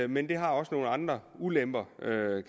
men det har også nogle andre ulemper